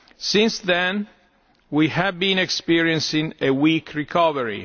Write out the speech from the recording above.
Since then, we have been experiencing a weak recovery.